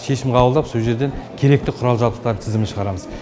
шешім қабылдап сол жерден керекті құрал жабдықтар тізімін шығарамыз